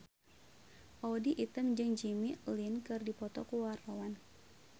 Audy Item jeung Jimmy Lin keur dipoto ku wartawan